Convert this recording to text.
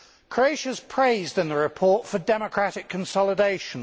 Croatia is praised in the report for its democratic consolidation.